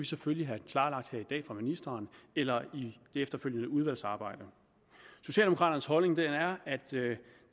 selvfølgelig have klarlagt her i dag fra ministeren eller i det efterfølgende udvalgsarbejde socialdemokraternes holdning er er at det